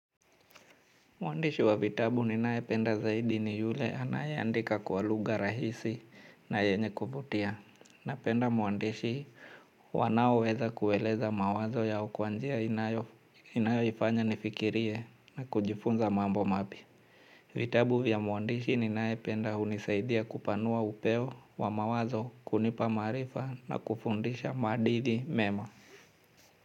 Mwandishi wa vitabu ninaye penda zaidi ni yule anayeandika kwa lugha rahisi na yenye kuvutia. Na penda mwandishi wanao weza kueleza mawazo ya okwanjia inayo ifanya nifikirie na kujifunza mambo mapya. Vitabu vya mwandishi ninaye penda hunisaidia kupanua upeo wa mawazo kunipa maarifa na kufundisha maadili mema.